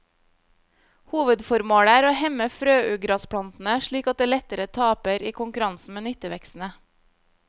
Hovedformålet er å hemme frøugrasplantene slik at det lettere taper i konkurransen med nyttevekstene.